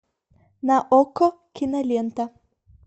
на окко кинолента